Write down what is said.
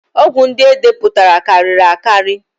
Ọgwụ ndị e depụtara karịrị akarị